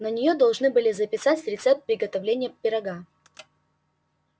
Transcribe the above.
на неё должны записать рецепт приготовления пирога